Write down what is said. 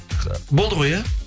болды ғой иә